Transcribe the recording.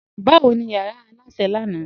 Bawo ni yara alásẹ̀ lánà?